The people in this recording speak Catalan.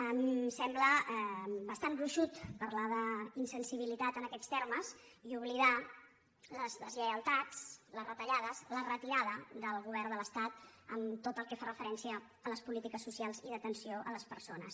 em sembla bastant gruixut parlar d’insensibilitat en aquests termes i oblidar les deslle·ialtats les retallades la retirada del govern de l’es·tat en tot el que fa referència a les polítiques socials i d’atenció a les persones